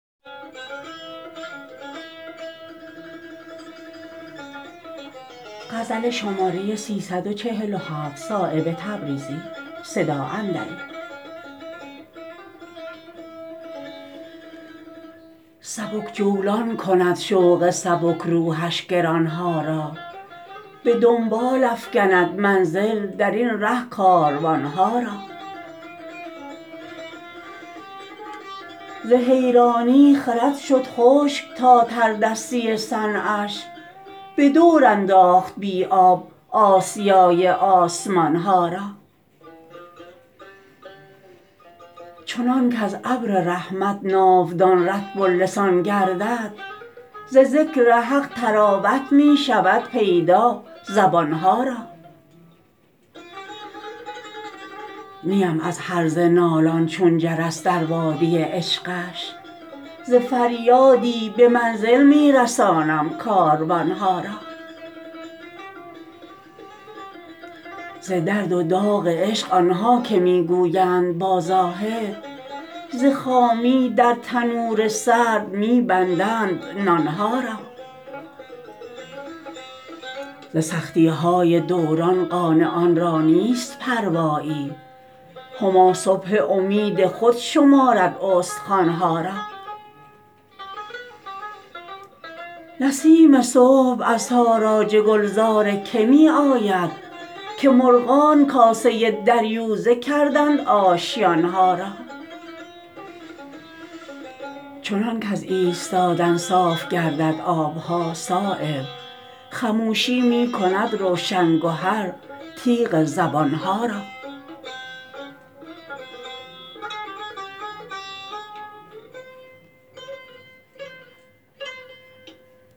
سبک جولان کند شوق سبک روحش گران ها را به دنبال افکند منزل درین ره کاروان ها را ز حیرانی خرد شد خشک تا تردستی صنعش به دور انداخت بی آب آسیای آسمان ها را چنان کز ابر رحمت ناودان رطب اللسان گردد ز ذکر حق طراوت می شود پیدا زبان ها را نیم از هرزه نالان چون جرس در وادی عشقش ز فریادی به منزل می رسانم کاروان ها را ز درد و داغ عشق آن ها که می گویند با زاهد ز خامی در تنور سرد می بندند نان ها را ز سختی های دوران قانعان را نیست پروایی هما صبح امید خود شمارد استخوان ها را نسیم صبح از تاراج گلزار که می آید که مرغان کاسه دریوزه کردند آشیان ها را چنان کز ایستادن صاف گردد آب ها صایب خموشی می کند روشن گهر تیغ زبان ها را